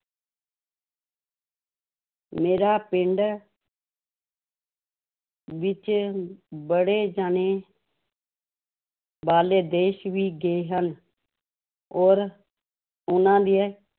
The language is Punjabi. ਮੇਰਾ ਪਿੰਡ ਵਿੱਚ ਬੜੇ ਜਾਣੇ ਬਾਹਰਲੇ ਦੇਸ ਵੀ ਗਏ ਹਨ, ਔਰ ਉਹਨਾਂ ਦੇ